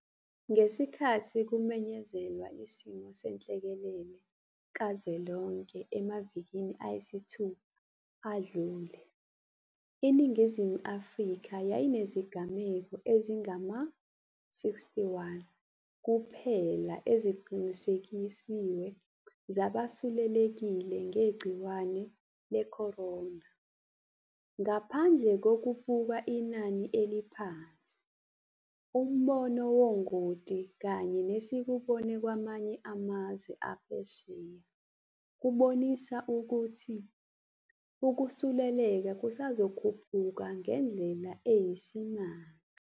Ngesikhathi kumenyezelwa isimo senhlekelele kazwelonke emavikini ayisithupha adlule, iNingizimu Afrika yayinezigameko ezingama-61 kuphela eziqinisekisiwe zabasuleleke ngegciwane le-corona. Ngaphandle kokubuka inani eliphansi, umbono wongoti kanye nesikubone kwamanye amazwe aphesheya kubonise ukuthi ukusuleleka kusazokhuphuka ngendlela eyisimanga.